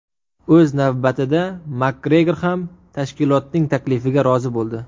O‘z navbatida Makgregor ham tashkilotning taklifiga rozi bo‘ldi.